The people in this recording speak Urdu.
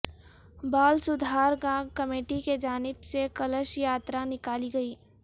بال سودھادرگا کمیٹی کی جانب سے کلش یاترا نکالی گئی